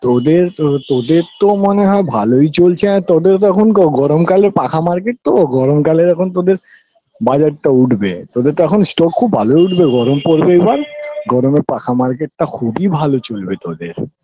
তোদের তো তোদের তো মনে হয় ভালোই চলছে এ তোদের তখন ক গরম কালে পাখা market তো গরম কালের এখন তোদের বাজারটা উঠবে তোদের তো এখন stock খুব ভালোই উঠবে গরম পরবে এবার গরমে পাখা market -টা খুবই ভালো চলবে তোদের